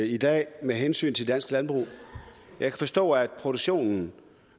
i dag med hensyn til dansk landbrug jeg kan forstå at produktionen